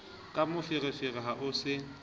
ka meferefere ha ho se